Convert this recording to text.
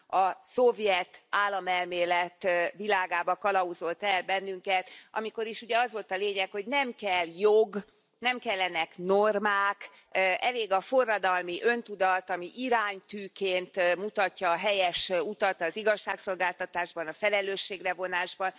A szovjet államelmélet világába kalauzolt el bennünket, amikor is, ugye, az volt a lényeg, hogy nem kell jog, nem kellenek normák, elég a forradalmi öntudat, ami iránytűként mutatja a helyes utat, az igazságszolgáltatásban a felelősségre vonás van.